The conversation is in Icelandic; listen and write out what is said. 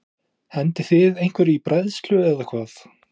Hendið þið einhverju í bræðslu eða hvað?